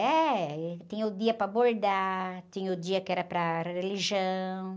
É, tinha o dia para bordar, tinha o dia que era para religião.